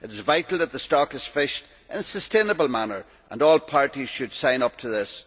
It is vital that the stock is fished in a sustainable manner, and all parties should sign up to this.